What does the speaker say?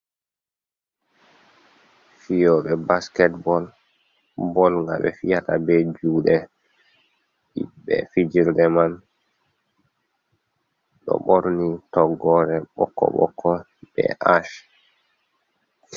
Fiyooɓe basket bol. Bol nga ɓe fiyata be juuɗe, himɓɓe fijirde man ɗo ɓorni toggore ɓokko ɓokko, be ach.